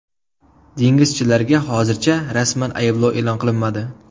Dengizchilarga hozircha rasman ayblov e’lon qilinmadi.